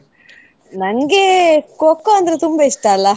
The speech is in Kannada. ನಂಗೆ Kho kho ಅಂದ್ರೆ ತುಂಬಾ ಇಷ್ಟ ಅಲಾ.